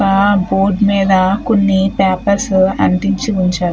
ఆ బోర్డు మీద కొన్ని పేపర్సు అంటించి ఉంచారు.